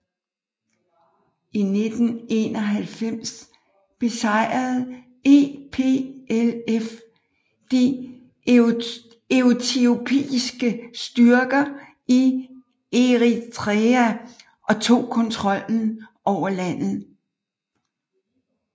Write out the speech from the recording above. I 1991 besejrede EPLF de etiopiske styrker i Eritrea og tog kontrollen over landet